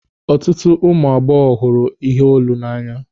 Ọtụtụ ụmụ agbọghọ hụrụ iheolu n'anya.